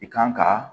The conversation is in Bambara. I kan ka